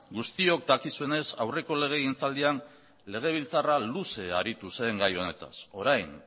guztiok dakizuenez aurreko legegiltzaldian legebiltzarra luze aritu zen gai honetaz orain